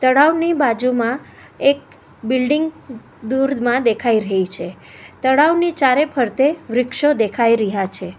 તળાવની બાજુમાં એક બિલ્ડીંગ દૂરમાં દેખાય રહી છે તળાવની ચારે ફરતે વૃક્ષો દેખાય રહ્યા છે.